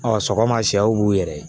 sɔgɔma sɛw b'u yɛrɛ ye